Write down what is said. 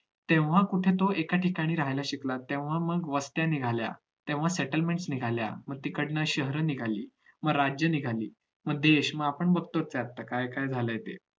तेव्हा कुठे तो एका ठिकाणी राहायला शिकला तेव्हा मग वस्त्या निघाल्या तेव्हा settelments निघाल्या मग तिकडनं शहरं निघाली मग राज्य निघाली मग देश मग आपण बघतोच आहे आता काय चालू झालाय ते